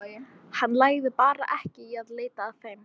Hann lagði bara ekki í að leita að þeim.